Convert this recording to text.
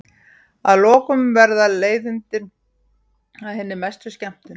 Að lokum verða leiðindin að hinni mestu skemmtun.